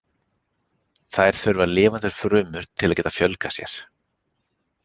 Þær þurfa lifandi frumur til að geta fjölgað sér.